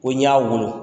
Ko n y'a wolo